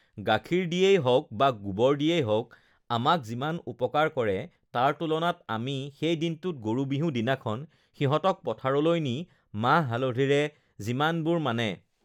গাখীৰ দিয়ে হওঁক বা গোবৰ দিয়ে হওঁক আমাক যিমান উপকাৰ কৰে তাৰ তুলনাত আমি সেই দিনটোত গৰু বিহু দিনাখন সিহঁতক পথাৰলৈ নি মাহ-হালধিৰে যিমানবোৰ ugh মানে